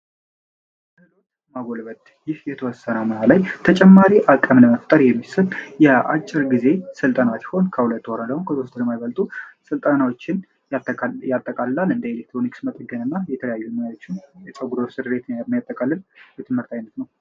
ማጎልበት ይህ የተወሰነ ሙያ ላይ ተጨማሪ ሃቅም ለመፍጠር የሚሰጥ የአጭር ጊዜ ስልጠና ሲሆን ከሁለት ወር ወይም ከሶስት ወር የማይበልጡ ስልጠናዎችን ያጠቃልላል። እንደ ኤሌክትሮኒክስ እና፣ የተለያዩ የፀጉር ስሪትን የሚያጠቃልል የሙያ አይነት ነው።